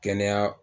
Kɛnɛya